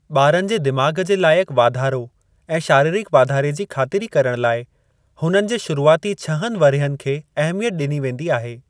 ॿारनि जे दिमाग़ जे लाइकु वाधारो ऐं शारीरिक वाधारे जी ख़ातिरी करण लाइ हुननि जे शुरूआती छहनि वरह्यिनि खे अहमियत ॾिनी वेंदी आहे।